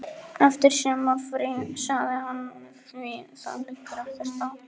Eftir sumarfrí, sagði hann, því það liggur ekkert á.